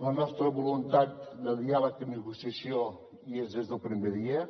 la nostra voluntat de diàleg i negociació hi és des del primer dia